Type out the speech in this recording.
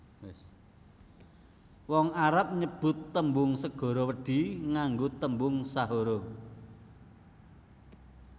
Wong Arab nyebut tembung segara wedhi nganggo tembung sahara